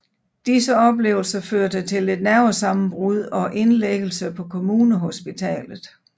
Disse oplevelser førte til et nervesammenbrud og indlæggelse på Kommunehospitalet